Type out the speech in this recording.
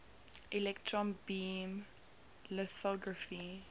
electron beam lithography